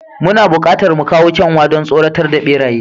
Muna buƙatar mu kawo kyanwa, don tsoratar da beraye.